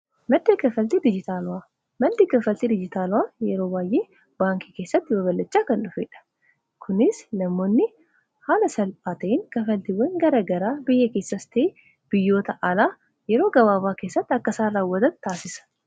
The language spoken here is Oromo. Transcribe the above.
maddi kaffaltii dijitaalaa faayidaa madaalamuu hin dandeenye fi bakka bu’iinsa hin qabne qaba. Jireenya guyyaa guyyaa keessatti ta’ee, karoora yeroo dheeraa milkeessuu keessatti gahee olaanaa taphata. Faayidaan isaa kallattii tokko qofaan osoo hin taane, karaalee garaa garaatiin ibsamuu danda'a.